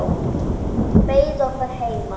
Hún beið okkar heima.